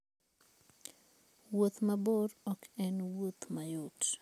Wuoth mabor ok en wuoth mayot.